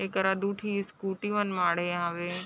एकरा दू ठे स्कूटी मन माडे हावे।